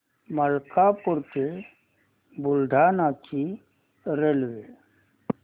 मलकापूर ते बुलढाणा ची रेल्वे